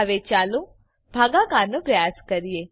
હવે ચાલો ભાગાકારનો પ્રયાસ કરીએ